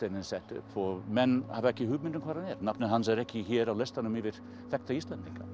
er settur upp menn hafa ekki hugmynd um hvar hann er nafnið hans er ekki hér á listanum yfir þekkta Íslendinga